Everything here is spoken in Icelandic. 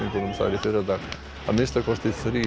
að minnsta kosti þrír hafa látist